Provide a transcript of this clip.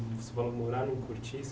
Você falou de morar num cortiço.